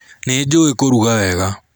Nĩnjũĩ kũruga wega.